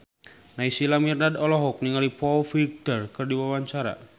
Naysila Mirdad olohok ningali Foo Fighter keur diwawancara